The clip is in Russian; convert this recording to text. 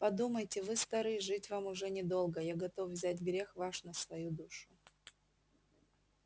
подумайте вы стары жить вам уж недолго я готов взять грех ваш на свою душу